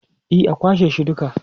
E, kwashe shi duka.